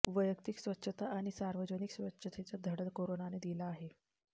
वैयक्तिक स्वच्छता आणि सार्वजनिक स्वच्छतेचा धडा कोरोनाने दिला आहे